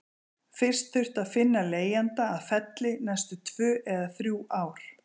Fyrst þurfti að finna leigjanda að Felli næstu tvö eða þrjú ár.